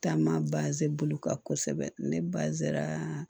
Taama baze bolo kan kosɛbɛ ne bazɛn